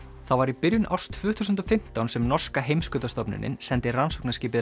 það var í byrjun árs tvö þúsund og fimmtán sem norska sendi rannsóknarskipið